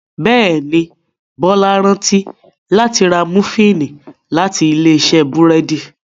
Béèni Bola rántí láti rà Múfìn láti Ilé-iṣẹ́ búrẹ́d.